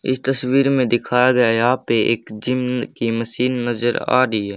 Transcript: इस तस्वीर मे दिखाया गया यहां पे एक जिम की मशीन नजर आ रही है।